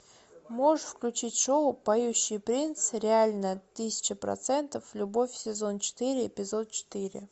можешь включить шоу поющий принц реально тысяча процентов любовь сезон четыре эпизод четыре